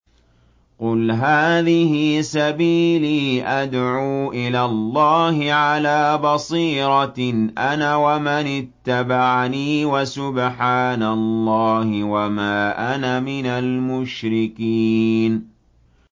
قُلْ هَٰذِهِ سَبِيلِي أَدْعُو إِلَى اللَّهِ ۚ عَلَىٰ بَصِيرَةٍ أَنَا وَمَنِ اتَّبَعَنِي ۖ وَسُبْحَانَ اللَّهِ وَمَا أَنَا مِنَ الْمُشْرِكِينَ